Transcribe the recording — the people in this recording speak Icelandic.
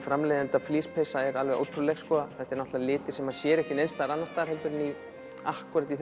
framleiðenda flíspeysa er alveg ótrúleg þetta eru litir sem maður sér ekki neins staðar annars staðar heldur en akkúrat í